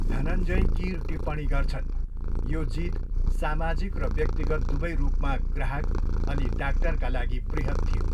धनञ्जय कीर टिप्पणी गर्छन्, यो जीत सामाजिक र व्यक्तिगत दुवै रूपमा ग्राहक अनि डाक्टरका लागि बृहत् थियो।